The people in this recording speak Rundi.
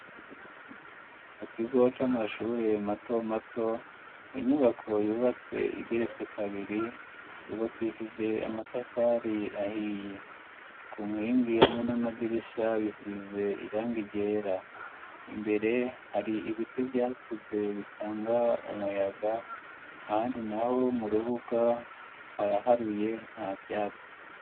Mu kigo c'amashure mato mato inyubako yubatse igeretse kabiri yubakishije amatafari ahiye ku nkingi hamwe n'amadirisha bisize irangi ryera, imbere hari ibiti vyakuze bitanga umuyaga ahandi naho mu rubuga haraharuye nta vyatsi.